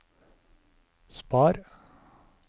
spar